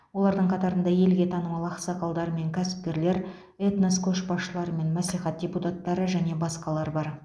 олардың қатарында елге танымал ақсақалдар мен кәсіпкерлер этнос көшбасшылары мен мәслихат депутаттары және басқалар бар